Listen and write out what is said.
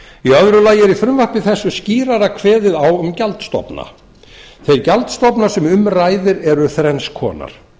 í öðru lagi eru í frumvarpi þessu skýrar kveðið á um gjaldstofna þeir gjaldstofnar sem um ræðir eru þrenns konar